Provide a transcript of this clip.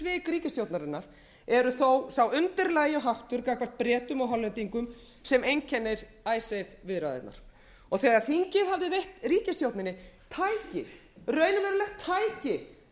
ríkisstjórnarinnar eru þó sá undirlægjuháttur gagnvart bretum og hollendingum sem einkennir icesave viðræðurnar þegar þingið hafði veitt ríkisstjórninni tæki raunverulegt tæki til þess að standa í